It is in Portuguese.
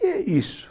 E é isso.